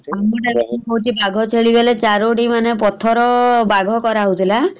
ଚାରିଟି ମାନେ ପଥର ବାଘ କରା ହଉଥିଲା ।